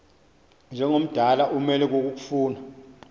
njengomdala umelwe kukofuna